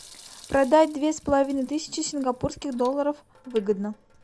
продать две с половиной тысячи сингапурских долларов выгодно